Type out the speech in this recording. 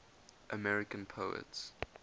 american poets